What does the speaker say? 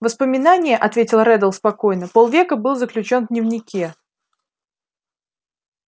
воспоминание ответил реддл спокойно пол века был заключён в дневнике